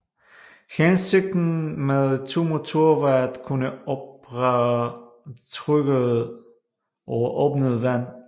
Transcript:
Hensigten med to motorer var at kunne operere tryggere over åbent vand